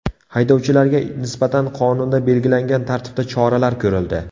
Haydovchilarga nisbatan qonunda belgilangan tartibda choralar ko‘rildi.